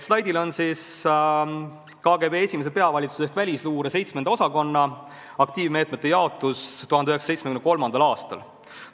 Slaidil on KGB esimese peavalitsuse ehk välisluure peavalitsuse seitsmenda osakonna aktiivmeetmete jaotus 1973. aastal.